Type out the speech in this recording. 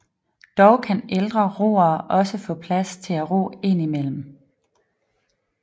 Dog kan ældre roere også få plads til at ro indimellem